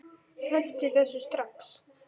Hentu þessu strax!